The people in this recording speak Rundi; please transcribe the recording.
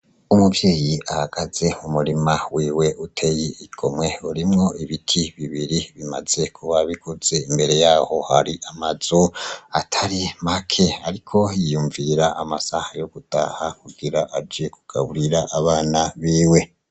Umuvyeyi ahagaze mu murima wiwe uteye igomwe urimwo ibiti bibiri, maze kuwabiguze imbere yaho hari amazu atari make ariko yiyumvira amasaha yo gutaha kugira aje kugaburira abana biwe.